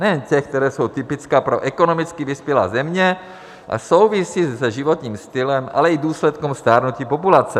Nejen těch, která jsou typická pro ekonomicky vyspělé země a souvisí se životním stylem, ale i důsledkem stárnutí populace.